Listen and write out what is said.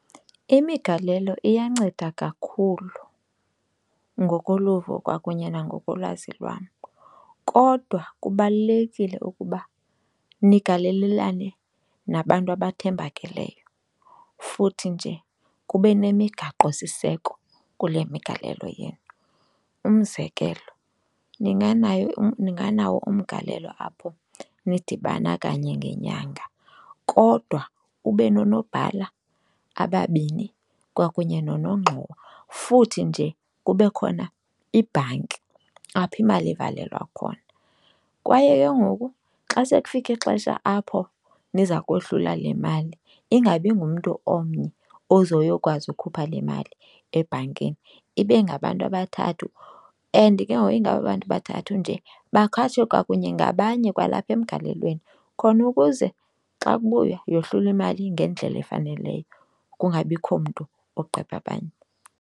Imigalelo iyanceda kakhulu ngokoluvo kwakunye nangokolwazi lwam, kodwa kubalulekile ukuba nigalelelane nabantu abathembakeleyo futhi nje kube nemigaqosiseko kule migalelo yenu. Umzekelo, ninganayo, ninganawo umgalelo apho nidibana kanye ngenyanga kodwa kube nonoobhala ababini kwakunye nonongxowa, futhi nje kube khona ibhanki apho imali ivalelwa khona. Kwaye ke ngoku xa sekufike ixesha apho niza kohlula le mali ingabi ngumntu omnye ozoyokwazi ukhupha le mali ebhankini ibe ngabantu abathathu. And ke ngoku ingaba bantu bathathu nje ke bakhatshwe kwakunye ngabanye kwalapha emgalelweni khona ukuze xa kubuywa yohlulwe imali ngendlela efaneleyo kungabikho mntu ogqebha abanye.